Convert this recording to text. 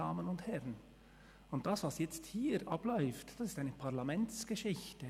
Das, was jetzt hier abläuft, das ist eine Parlamentsgeschichte.